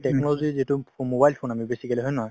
technology যিটো mobile phone আমি basically হয় নে নহয় ।